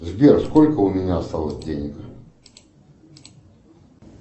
сбер сколько у меня осталось денег